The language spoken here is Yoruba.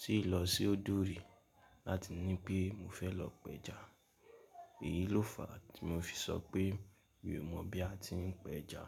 tíì lọ sí òdò rí láti ní pe mo fẹ́ lọ péja. Èyí ló fa tí mo fi sọ pé mi ò mọ̀ bí a ti ń péja.